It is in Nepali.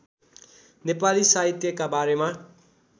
नेपाली साहित्यका बारेमा